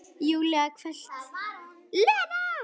Júlía hvellt: Lena!